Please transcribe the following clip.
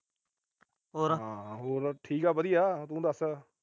ਹੋਰ ਠੀਕ ਆ ਵਧੀਆ, ਤੂੰ ਦੱਸ।